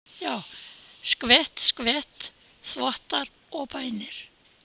Skvett, skvett, þvottar og bænir.